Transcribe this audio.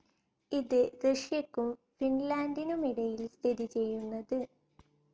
ഇത് റഷ്യക്കും ഫിൻലൻഡിനുമിടയിൽ സ്ഥിതിചെയ്യുന്നത്